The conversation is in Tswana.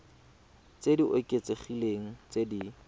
tse di oketsegileng tse di